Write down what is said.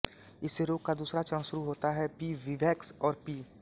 इससे रोग का दूसरा चरण शुरु होता है पी विवैक्स और पी